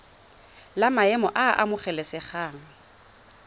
la maemo a a amogelesegang